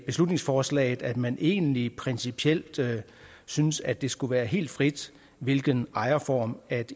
beslutningsforslaget at man egentlig principielt synes at det skulle være helt frit hvilken ejerform